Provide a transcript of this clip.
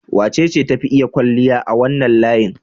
Wacece ta fi iya kwalliya a wannan layin?